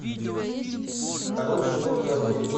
хороший доктор восьмой сезон